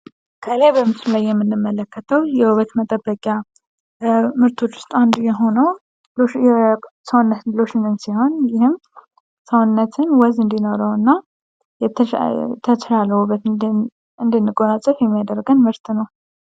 ከላይ በምስሉ ላይ የምንመለከተው የውበት መጠበቂያ ምርቶች ውስጥ አንዱ የሆነው የሰውነት ሎሽን ሲሆን፤ ይህም ሰውነትን ወዝ እንዲኖረው እና የተሻለ ውበት እንድንጎናፀፍ የሚያደርገን ምርት ነው።